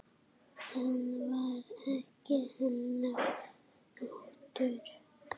Það var ekki hennar háttur.